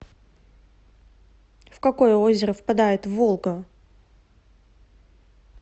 в какое озеро впадает волга